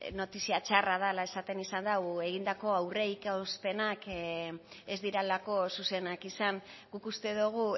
notizia txarra dela esaten izan du egindako aurreikuspenak ez direlako zuzenak izan guk uste dugu